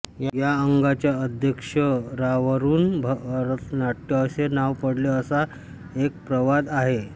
या अंगांच्या आद्याक्षरावरून भरतनाट्य असे नाव पडले असा एक प्रवाद आहे